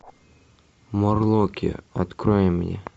морлоки открой мне